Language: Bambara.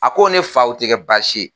A ko ne fa o tɛ kɛ baasi ye.